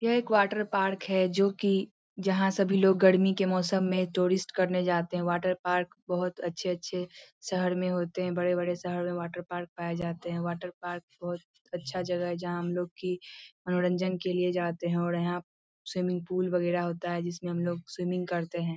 ये एक वाटरपार्क है जो कि जहाँ सभी लोग गड़मी के मोसम में टूरिस्ट करने जाते है। वाटरपार्क बहुत अच्छे-अच्छे शहर में होते है बड़े-बड़े शहर में वाटरपार्क पाए जाते है। वाटरपार्क बहुत अच्छा जगह है जहाँ हम लोग की मनोरंजन के लिए जाते है और यहाँ स्विमिंग पुल वगेरा होता है जिसमें हम लोग स्विमिंग करते है।